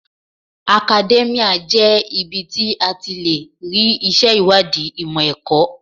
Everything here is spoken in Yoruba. Akadẹ́míà jẹ́ ibi tí a ti lè rí ìṣe ìwádìí ìmọ̀ ẹ̀kọ́.